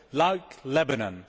Like Lebanon?